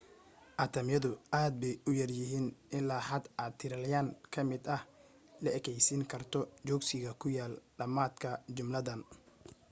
atamyadu aad bay u yaryaryihiin ilaa xad aad tirilyan ka mid ah le'ekaysiin karto jooogsiga ku yaal dhammaadka jumladdan